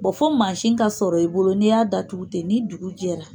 Bɔn fɔ maasin ka sɔrɔ i bolo n'i y'a da tugu ten ni dugu jɛra